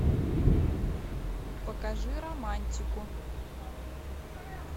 покажи романтику